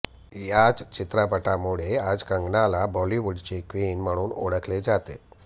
याच चित्रपटामुळे आज कंगनाला बॉलीवूडची क्वीन म्हणून ओळखले जाते